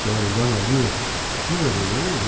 Precisava andar na linha fina mesmo.